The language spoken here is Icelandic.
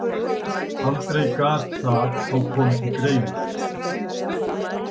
Aldrei gat það þó komið til greina.